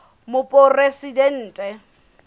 moporesidente